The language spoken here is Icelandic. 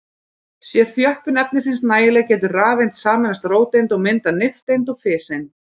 Sé þjöppun efnisins nægileg getur rafeind sameinast róteind og myndað nifteind og fiseind.